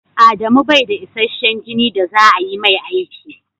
Adamu bai da isashen jini da za a yi mai aiki.